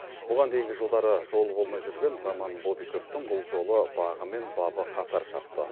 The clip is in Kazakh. бұған дейінгі жылдары жолы болмай жүрген роман бобиковтің бұл жолы бағы мен бабы қатар шапты